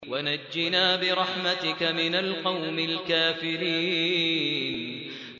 وَنَجِّنَا بِرَحْمَتِكَ مِنَ الْقَوْمِ الْكَافِرِينَ